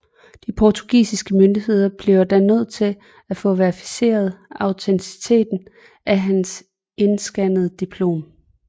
De portugisiske myndigheder bliver da nødt til at få verificeret autenticiteten af hans indskannede diplom